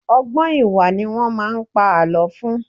Ọ̀gbọ́n ìwà ni wọ́n máa ń pa àlọ́ fún.